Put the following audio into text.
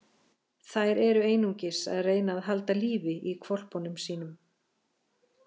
Þær eru einungis að reyna að halda lífi í hvolpunum sínum.